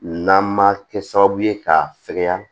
N'an ma kɛ sababu ye ka fɛkɛya